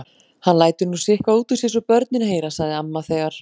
Hann lætur nú sitthvað út úr sér svo börnin heyra, sagði amma, þegar